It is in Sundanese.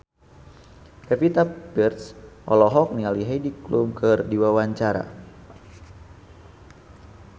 Pevita Pearce olohok ningali Heidi Klum keur diwawancara